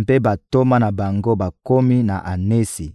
mpe bantoma na bango bakomi na Anesi,